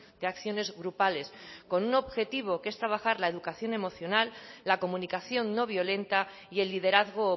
de acciones grupales con un objetivo que es trabajar la educación emocional la comunicación no violenta y el liderazgo